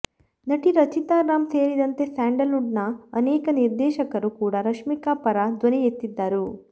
ನಟಿ ರಚಿತಾ ರಾಮ್ ಸೇರಿದಂತೆ Sandalwood ನ ಅನೇಕ ನಿರ್ದೇಶಕರು ಕೂಡ ರಶ್ಮಿಕಾ ಪರ ಧ್ವನಿ ಎತ್ತಿದ್ದರು